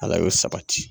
Ala y'o sabati